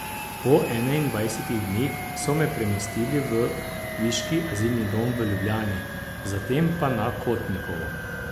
Po enaindvajsetih dneh so me premestili v viški azilni dom v Ljubljani, zatem pa na Kotnikovo.